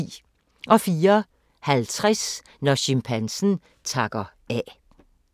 04:50: Når chimpansen takker af